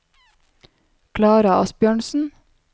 Klara Asbjørnsen